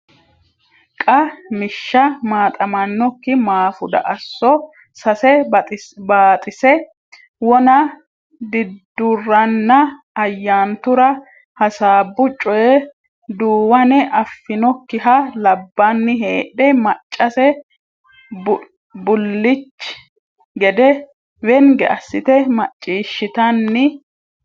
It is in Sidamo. Qa mishsha Maaxamannokki Maafuda Asso Sase Baaxise wona Diidduranna Ayyaantura hassaabbu coye Duuwane affinokkiha labbanni heedhe maccase bullichi gede wenge assite macciishshitanni.